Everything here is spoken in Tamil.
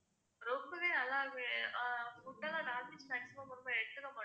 ரொம்பவே நல்லா இருக்கும் அஹ் food எல்லாம் non-veg maximum ரொம்ப எடுத்துக்க மாட்டோம்